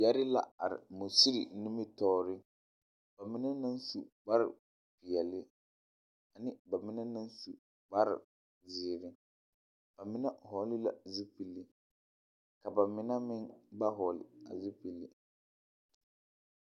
Yԑre la are musiri nimitͻͻre, ba mine meŋ su kpare peԑle ane ba mine naŋ su kare ziiri. Ba mine vͻgele la zupili, ka ba mine meŋ ba vͻgele a zupili.